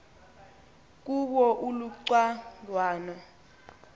kuwo uluca ngwana